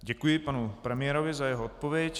Děkuji panu premiérovi za jeho odpověď.